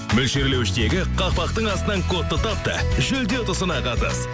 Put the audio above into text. мөлшерлеуіштегі қақпақтың астынан кодты тап та жүлде ұтысына қатыс